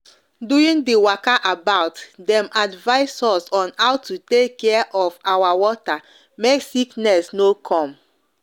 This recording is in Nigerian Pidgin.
during the waka about them advice us on how to take care of our water make sickness no com